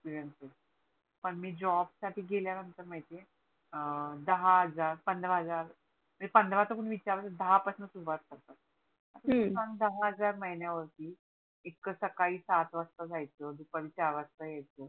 पण मी जॉब साठी गेल्या नंतर माहिती आहे दहा हजार पंधरा हजार म्हणजे पंधरा तर विचारुच नको दहा पासून सुरवात फक्त हम्म आता तु सांग दहा हजार महिन्या वरती येतक सकाळी सात वासता जायच दुपारी चार वासता यायच